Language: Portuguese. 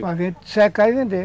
secar e vender.